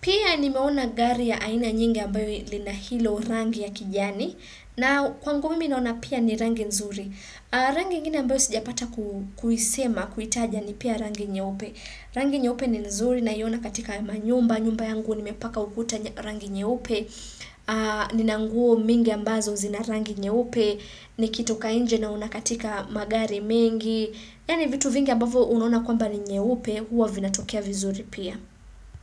Pia nimeona gari ya aina nyingi ambayo lina hilo rangi ya kijani na kwangu mimi naona pia ni rangi nzuri Rangi ingine ambayo sijapata kuisema, kuitaja ni pia rangi nyeupe Rangi nyeupe ni nzuri naiona katika manyumba, nyumba yangu nimepaka ukuta rangi nyeupe Nina nguo mingi ambazo zina rangi nyeupe Nikitoka nje naona katika magari mengi Yani vitu vingi ambavo unaona kwamba ni nyeupe huwa vinatokea vizuri pia.